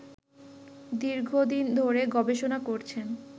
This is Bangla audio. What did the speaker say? দীর্ঘদিন ধরে গবেষণা করছেন